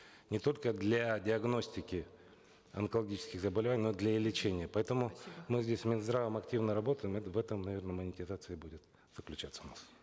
не только для диагностики онкологических заболеваний но для и лечения поэтому мы здесь с минздравом активно работаем в этом наверно монетизация будет заключаться у нас